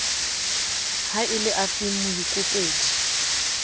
ha e le afeng moikopedi